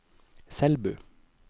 Selbu